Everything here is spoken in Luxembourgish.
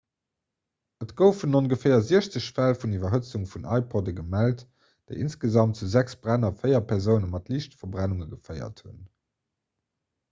et goufen ongeféier 60 fäll vun iwwerhëtzung vun ipodde gemellt déi insgesamt zu sechs bränn a véier persoune mat liichte verbrennunge geféiert hunn